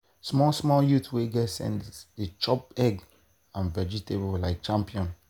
small small youth wey get sense dey chop egg and vegetable like champion.